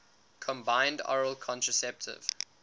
combined oral contraceptive